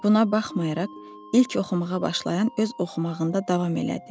Buna baxmayaraq, ilk oxumağa başlayan öz oxumağında davam elədi.